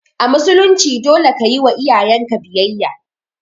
A musulunci dole ne kayiwa iyayenka biyayya